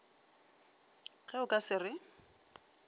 ge o ka se re